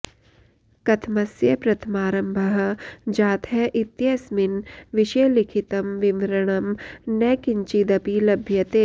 कथमस्य प्रथमारम्भः जातः इत्यस्मिन् विषये लिखितं विवरणं न किञ्चिदपि लभ्यते